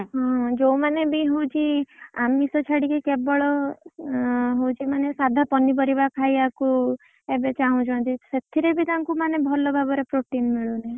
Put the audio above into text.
ହଁ ଯୋଉମାନେବି ହଉଛି ଆମିଷ ଛାଡିକି କେବଳ ହଉଛି ମାନେ କେବଳ ସାଧା ପନିପରିବା ଖାଇଆକୁ ଏବେ ଚାହୁଁଛନ୍ତି, ସେଥିରେ ବି ତାଙ୍କୁ ମାନେ ଭଲ ଭାବରେ ମାନେ protein ମିଳୁନି।